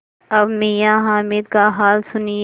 अब मियाँ हामिद का हाल सुनिए